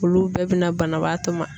Olu bɛɛ bɛ na banabaatɔ ma.